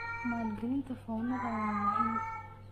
Maalgelinta foornada waa muhiim.